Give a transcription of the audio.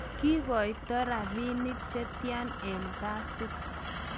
kiikoite robinik che tya eng' basit?